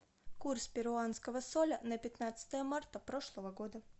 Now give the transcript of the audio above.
курс перуанского соля на пятнадцатое марта прошлого года